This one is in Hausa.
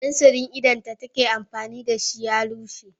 fensirin idon da take amfani da shi ya lumshe